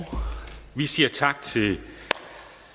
tyve